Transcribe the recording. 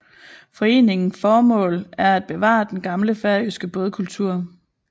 Foreningen formål er at bevare den gamle færøske bådkultur